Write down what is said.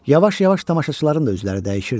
Yavaş-yavaş tamaşaçıların da üzləri dəyişirdi.